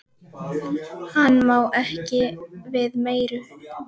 Hann má ekki við meiru.